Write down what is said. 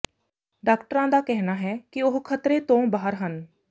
ਡਾਕਟਰਾਂ ਦਾ ਕਹਿਣਾ ਹੈ ਕਿ ਉਹ ਖਤਰੇ ਤੋਂ ਬਾਹਰ ਹਨ